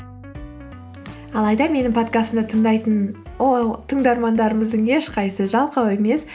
алайда менің подкастымды тыңдайтын тыңдармандарымыздың ешқайсысы жалқау емес